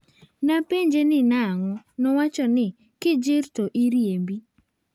Napenjo ni nang'o, nowacho ni, 'kijir to iriembi'."